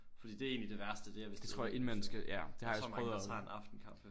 Fordi det er egentligt det værste det er hvis det er inden man skal sove jeg tror der er mange der tager en aftenkaffe